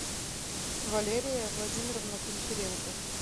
валерия владимировна гончаренко